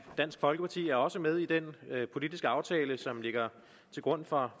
dansk folkeparti er også med i den politiske aftale som ligger til grund for